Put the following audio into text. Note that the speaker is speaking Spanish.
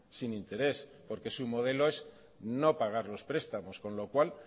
sin interés porque su modelo es no pagar los prestamos con lo cual